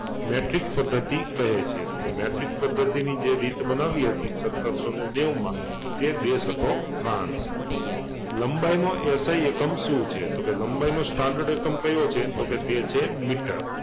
Metric પદ્ધતિ કહે છે તો કે મેટ્રિક પદ્ધતિ ની જે રીત બનાવી હતી સત્તરસોને નેવુમાં તે દેશ હતો ફ્રાંસ, લંબાઈનો SI એકમ શું છે? તો કે લંબાઈનો standard એકમ કયો છે? તો કે તે છે મીટર